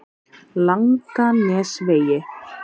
Langanesvegi